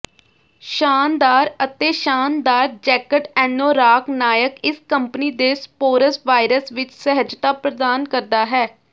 ਸ਼ਾਨਦਾਰ ਅਤੇ ਸ਼ਾਨਦਾਰ ਜੈਕਟ ਐਨੋਰਾਕ ਨਾਇਕ ਇਸ ਕੰਪਨੀ ਦੇ ਸਪੋਰਸਵਾਇਰਸ ਵਿਚ ਸਹਿਜਤਾ ਪ੍ਰਦਾਨ ਕਰਦਾ ਹੈ